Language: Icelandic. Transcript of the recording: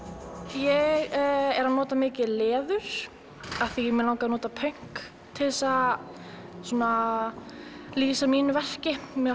ég er að nota mikið leður því mig langaði að nota pönk til að lýsa mínu verki mér